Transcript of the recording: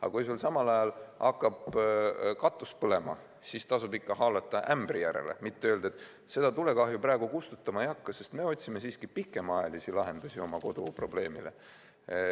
Aga kui sul samal ajal hakkab katus põlema, siis tasub ikka haarata ämbri järele, mitte öelda, et seda tulekahju praegu kustutama ei hakka, sest me otsime siiski pikemaajalisi lahendusi oma kodu probleemile.